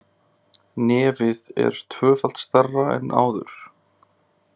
Nefið er tvöfalt stærra en áður.